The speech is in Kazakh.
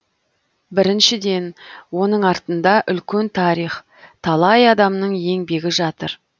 біріншіден оның артында үлкен тарих талай адамның еңбегі жатыр